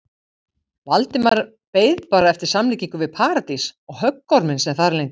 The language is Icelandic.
Valdimar beið bara eftir samlíkingu við Paradís og höggorminn sem þar leyndist.